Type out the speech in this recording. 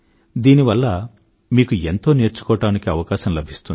దీనివల్ల మీకు ఎంతో నేర్చుకోవడానికి అవకాశం లభిస్తుంది